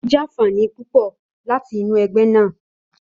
Ó jàfààní púpọ̀ láti inú ẹgbẹ́ náà.